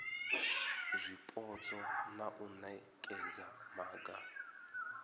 zwipotso na u nekedza maga